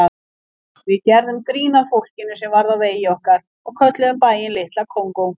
Við gerðum grín að fólkinu sem varð á vegi okkar og kölluðum bæinn Litla Kongó.